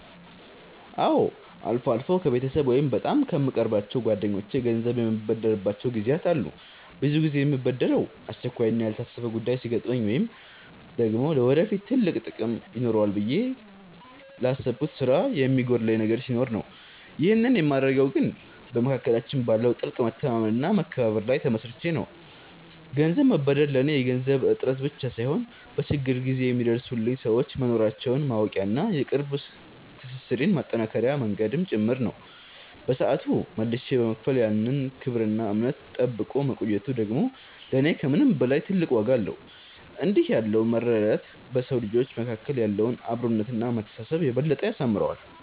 አዎ፣ አልፎ አልፎ ከቤተሰብ ወይም በጣም ከምቀርባቸው ጓደኞቼ ገንዘብ የምበደርባቸው ጊዜያት አሉ። ብዙ ጊዜ የምበደረው አስቸኳይና ያልታሰበ ጉዳይ ሲገጥመኝ ወይም ደግሞ ለወደፊት ትልቅ ጥቅም ይኖረዋል ብዬ ላሰብኩት ስራ የሚጎድለኝ ነገር ሲኖር ነው። ይህንን የማደርገው ግን በመካከላችን ባለው ጥልቅ መተማመንና መከባበር ላይ ተመስርቼ ነው። ገንዘብ መበደር ለኔ የገንዘብ እጥረት ብቻ ሳይሆን፣ በችግር ጊዜ የሚደርሱልኝ ሰዎች መኖራቸውን ማወቂያና የቅርብ ትስስሬን ማጠናከሪያ መንገድም ጭምር ነው። በሰዓቱ መልሼ በመክፈል ያን ክብርና እምነት ጠብቆ መቆየቱ ደግሞ ለኔ ከምንም በላይ ትልቅ ዋጋ አለው። እንዲህ ያለው መረዳዳት በሰው ልጆች መካከል ያለውን አብሮነትና መተሳሰብ የበለጠ ያሳምረዋል።